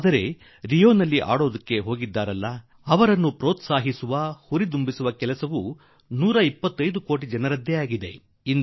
ಆದರೆ ರಿಯೋದಲ್ಲಿ ಆಡಲು ಹೋಗಿರುವ ಕ್ರೀಡಪಟುಗಳಲ್ಲಿ ಉತ್ಸಾಹ ತುಂಬುವುದು 125 ಕೋಟಿ ದೇಶವಾಸಿಗಳ ಕೆಲಸವಾಗಿದೆ